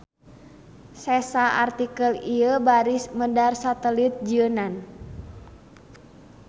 Sesa artikel ieu baris medar satelit jieunan.